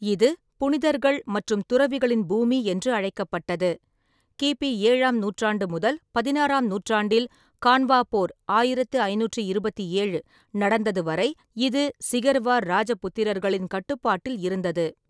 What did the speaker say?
இது புனிதர்கள் மற்றும் துறவிகளின் பூமி என்று அழைக்கப்பட்டது. கி. பி. ஏழாம் நூற்றாண்டு முதல் பதினாறாம் நூற்றாண்டில் கான்வா போர் ஆயிரத்து ஐநூற்றி இருபத்தி ஏழு நடந்தது வரை, இது சிகர்வார் ராஜபுத்திரர்களின் கட்டுப்பாட்டில் இருந்தது.